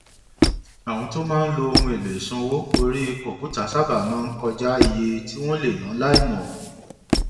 àwọn tó máa ń lo ohun èlò ìsanwó orí kọǹpútà sábà máa ń kọjá iye tí wọn lè ná láìmọ